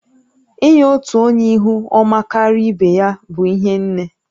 Inye otu onye ihu ọma karịa ibe ya bụ ihe n